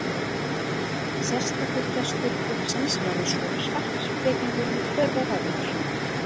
Sérstakur gestur klúbbsins verður svo sparkspekingurinn Hjörvar Hafliðason.